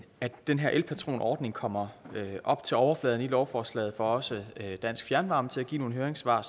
at den her elpatronordning kommer op til overfladen i lovforslaget får også dansk fjernvarme til at give nogle høringssvar